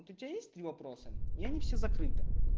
вот у тебя есть три вопроса и они все закрыты